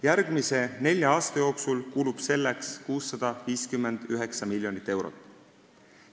Järgmise nelja aasta jooksul kulub selleks 659 miljonit eurot.